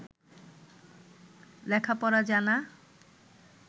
লেখাপড়া জানা